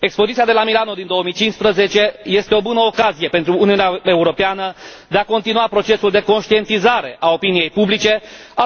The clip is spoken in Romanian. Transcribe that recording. Expoziția de la Milano din 2015 este o bună ocazie pentru Uniunea Europeană de a continua procesul de conștientizare a opiniei publice